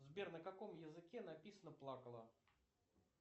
сбер на каком языке написана плакала